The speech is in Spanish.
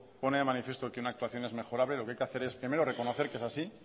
pone de manifiesto que una actuación es mejorable lo que hay que hacer es primero reconocer que es así